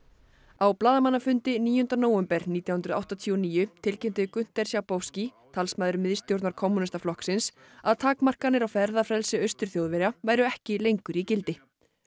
á blaðamannafundi níunda nóvember nítján hundruð áttatíu og níu tilkynnti Günter Schabowski talsmaður miðstjórnar kommúnistaflokksins að takmarkanir á ferðafrelsi Austur Þjóðverja væru ekki lengur í gildi